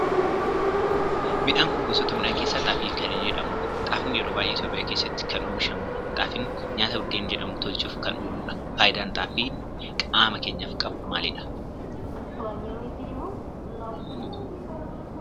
Midhaan kun gosoota midhaanii keessaa xaafii kan jedhamu dha. Xaafiin yeroo baayyee Itiyoophiyaa keessatti kan oomishamudha. Xaafiin nyaata buddeen jedhamu tolchuuf kan oolu dha. Faayidaan xaafiin qaama keenyaf qabuu maalidha?